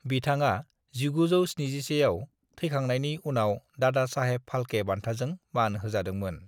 बिथाङा 1971 आव थैखांनायनि उनाव दादा साहेब फाल्के बान्थाजों मान होजादोंमोन।